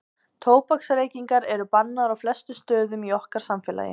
tóbaksreykingar eru bannaðar á flestum stöðum í okkar samfélagi